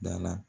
Da la